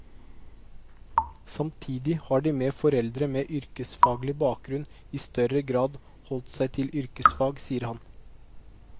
Samtidig har de med foreldre med yrkesfaglig bakgrunn i større grad holdt seg til yrkesfag, sier han.